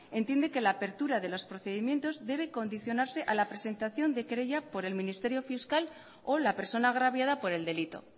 entiende que la apertura de los procedimientos debe condicionarse a la presentación de querella por el ministerio fiscal o la persona agraviada por el delito